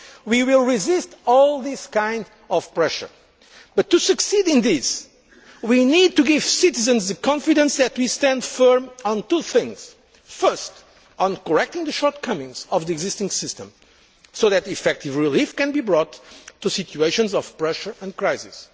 going to do. We will resist all these kinds of pressure, but to succeed in this we need to give citizens the confidence that we stand firm on two things first on correcting the shortcomings of the existing system so that effective relief can be brought to situations of pressure